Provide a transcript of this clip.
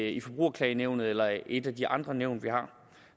i forbrugerklagenævnet eller i et af de andre nævn vi har